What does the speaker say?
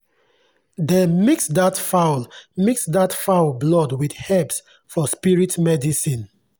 dem mix that fowl mix that fowl blood with herbs for spirit medicine.